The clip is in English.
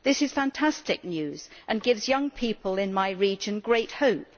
This is fantastic news and gives young people in my region great hope.